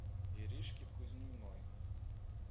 иришке кузьминой